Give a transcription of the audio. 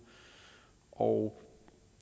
og